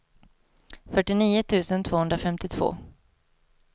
fyrtionio tusen tvåhundrafemtiotvå